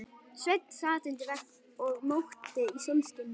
Sveinn sat undir vegg og mókti í sólskininu.